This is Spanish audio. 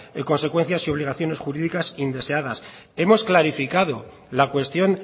consecuencias y obligaciones jurídicas indeseadas hemos clarificado la cuestión